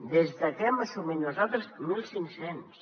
des de que ho hem assumit nosaltres mil cinc cents